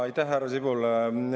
Aitäh, härra Sibul!